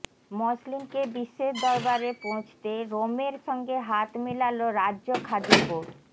মসলিনকে বিশ্বের দরবারে পৌছতে রোমের সঙ্গে হাত মেলাল রাজ্য খাদি বোর্ড